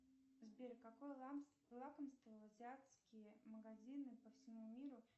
сбер какое лакомство в азиатские магазины по всему миру